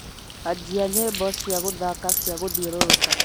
anjia nyimbo cia guthaka cia gũthiũrũrũka